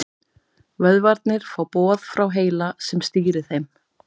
Vöðvarnir fá boð frá heila sem stýrir þeim.